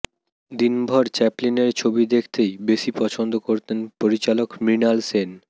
দিনভর চ্যাপলিনের ছবি দেখতেই বেশি পছন্দ করতেন পরিচালক মৃণাল সেন